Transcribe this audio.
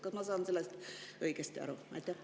Kas ma saan sellest õigesti aru?